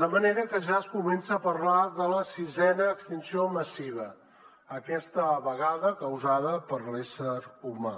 de manera que ja es comença a parlar de la sisena extinció massiva aquesta vegada causada per l’ésser humà